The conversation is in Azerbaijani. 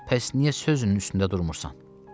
Bəs niyə sözünün üstündə durmursan?